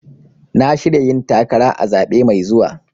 Na shirya yin takara a zaɓe mai zuwa.